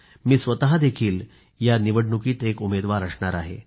मी स्वतःही या निवडणुकीत एक उमेदवार असणार आहे